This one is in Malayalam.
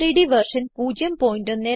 gchem3ഡ് വെർഷൻ 01210